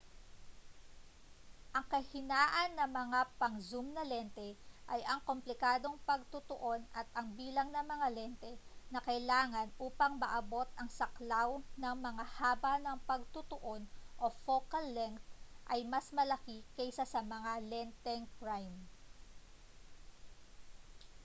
ang kahinaan ng mga pang-zoom na lente ay ang komplikadong pagtutuon at ang bilang ng mga lente na kailangan upang maabot ang saklaw ng mga haba ng pagtutuon o focal length ay mas malaki kaysa sa mga lenteng prime